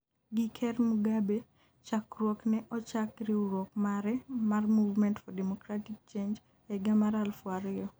gi Ker Mugabe chakruok ne ochak riwruok mare mar 'movement for democratic change' e higa mar aluf ariyo